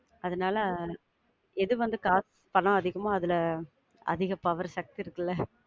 அதனால எது வந்து காசு பணம் அதிகமோ, அதுல அதிக power சத்து இருக்கல.